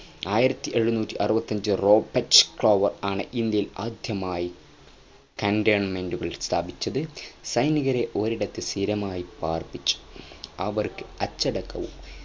ആയിരത്തി എഴുനൂറ്റി അറവത്തഞ്ചു റോബർട്ട് ക്ളൈവ് ആണ് ഇന്ത്യയിൽ ആദ്യമായി cantonment സ്ഥാപിച്ചത് സൈനികരെ ഒരിടത്ത് സ്ഥിരമായി പാർപ്പിച്ചു അവർക്ക് അച്ചടക്കവും